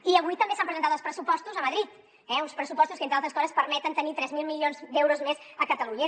i avui també s’han presentat els pressupostos a madrid eh uns pressupostos que entre altres coses permeten tenir tres mil milions d’euros més a catalunya